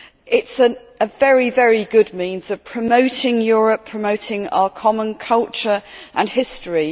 It is a very good means of promoting Europe, of promoting our common culture and history.